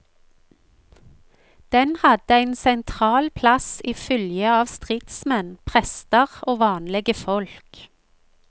Den hadde ein sentral plass i fylgje av stridsmenn, prestar og vanlege folk.